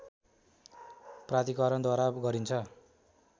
प्राधिकरणद्वारा गरिन्छ